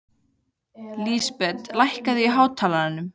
Lísbet, lækkaðu í hátalaranum.